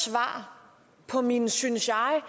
svar på mine synes jeg